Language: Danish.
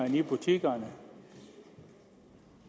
i butikkerne